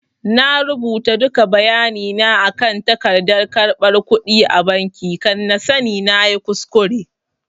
I rubuta duka bayani na akan tagardan karɓan kudi a banki kan na tada sani nayi kuskure